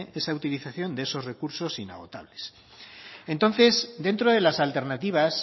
esa utilización de esos recursos inagotables entonces dentro de las alternativas